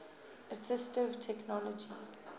assistive technology